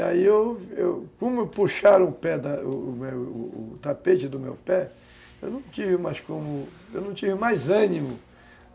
E aí, eu eu como puxaram o pé da, o tapete do meu pé, eu não tive mais como, eu não tinha mais ânimo.